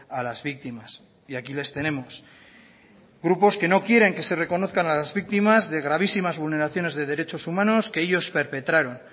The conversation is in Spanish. a las víctimas y aquí les tenemos grupos que no quieren que se reconozcan a las víctimas de gravísimas vulneraciones de derechos humanos que ellos perpetraron